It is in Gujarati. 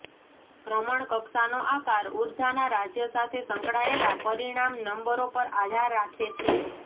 ભ્રમણકક્ષાનો આકાર ઊર્જાના રાજ્ય સાથે સંકળાયેલા પરિમાણ નંબરો પર આધાર રાખે છે